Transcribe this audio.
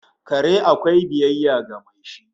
Kare akwai biyayya ga mai shi